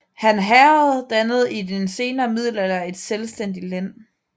Han Herred dannede i den senere middelalder et selvstændigt len